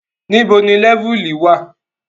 Níbo ni Lẹ́vùlì wà?